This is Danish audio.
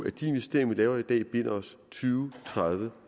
at de investeringer vi laver i dag binder os tyve tredive